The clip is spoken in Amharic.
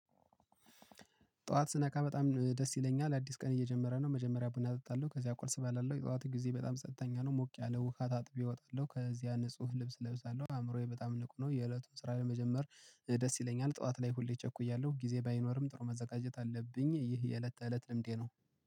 ጠዋት ስነካ በጣም ደስ ይለኛል አዲስ ቀን እየጀመረ ነው። መጀመሪያ ቡና አጠጣለሁ ከዚያ ቁርስ እበላለሁ የጠዋት ጊዜ በጣም ጸጥተኛ ነው ሞቅ ያለው ውሃ ታጥቤ እወጣለሁ። ከዚያ ንጹህ ልብስ እለብሳለሁ አእምሮዬ በጣም ልቅ ነው። የእለቱን ስራ ለመጀመር ደስ ይለኛል ጠዋት ላይ ሁሌ እቸኩያለሁ ጊዜ ባይኖርም ጥሩ መዘጋጀት አለብኝ። ይህ የእለት ተእለት ልምዴ ነው